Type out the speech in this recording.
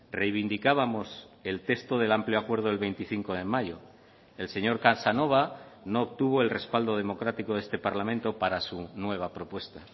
reivindicábamos el texto del amplio acuerdo del veinticinco de mayo el señor casanova no obtuvo el respaldo democrático de este parlamento para su nueva propuesta